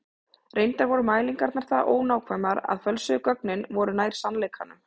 Reyndar voru mælingarnar það ónákvæmar að fölsuðu gögnin voru nær sannleikanum.